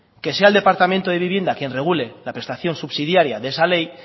que sea el departamento de vivienda quien regule la prestación subsidiaria de esa ley